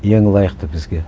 ең лайықты бізге